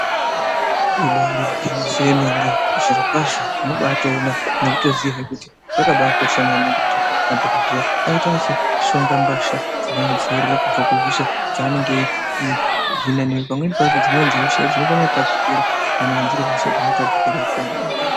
Ibari gwinyiso yemene zviro kwazvo unobaatoona nekutoziyazve kuti zvakabaakosha maningi kuti madhokodheya aite achishonga mbasha dzinoaadziirira kubva kuhosha dzaanenge eihina nekuti pamweni pacho hosha idzi dzinokone kutapukira kana dziri hosha dzinotapukira pamweni padzo.